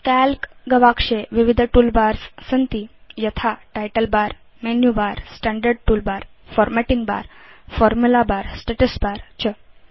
काल्क गवाक्षे विविध टूलबार्स सन्ति यथा title bar menu bar standard toolbar formatting bar formula bar status bar च